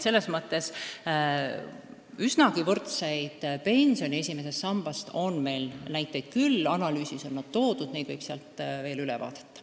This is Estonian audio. Selles mõttes üsnagi sarnaste esimese samba pensionide kohta on meil näiteid küll, analüüsis on need toodud, need võib sealt veel üle vaadata.